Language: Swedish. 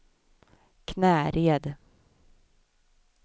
Knäred